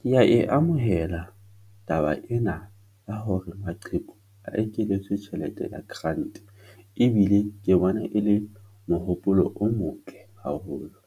Ke ya e amohela taba ena ya hore maqheku a ekeletswe tjhelete ya grant ebile ke bona e le mohopolo o motle haholo,